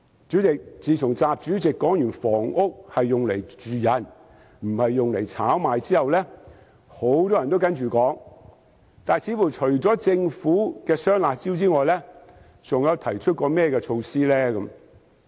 主席，自從習主席說過"房子是用來住的，不是用來炒賣"後，很多人也複述這番說話，但政府除了推出"雙辣招"之外，還有甚麼措施呢？